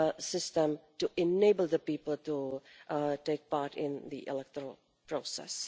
system to enable people to take part in the electoral process.